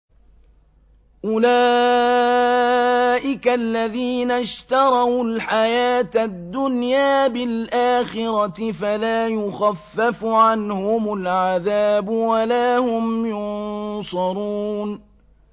أُولَٰئِكَ الَّذِينَ اشْتَرَوُا الْحَيَاةَ الدُّنْيَا بِالْآخِرَةِ ۖ فَلَا يُخَفَّفُ عَنْهُمُ الْعَذَابُ وَلَا هُمْ يُنصَرُونَ